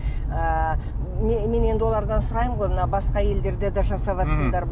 ыыы мен мен енді олардан сұраймын ғой мына басқа елдерде де жасаватсыңдар